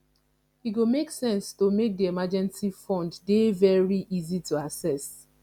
e go make sense to make di emergency fund dey very easy to assess